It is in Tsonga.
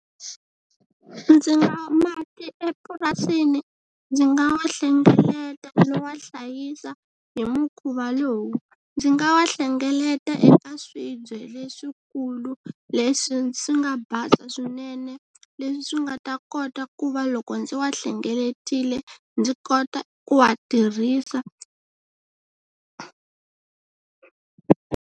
Ndzi nga mati epurasini ndzi nga wa hlengeleta ndzi ya hlayisa hi mukhuva lowu, ndzi nga hlengeleta eka swibye leswikulu leswi swi nga basa swinene leswi swi nga ta kota ku va loko ndzi wa hlengeletile ndzi kota ku wa tirhisa.